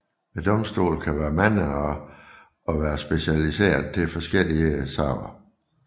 Domstolene kan være mange og være specialiserede til forskellige sager